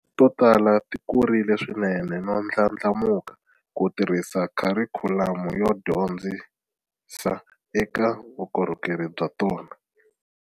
To tala ti kurile swinene no ndlandlamuka ku tirhisa kharikhulamu yo dyondzisa eka vukorhokeri bya tona.